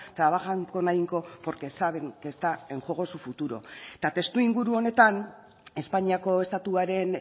trabajan con ahínco porque saben que está en juego su futuro eta testuinguru honetan espainiako estatuaren